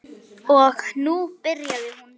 Og nú byrjaði hún.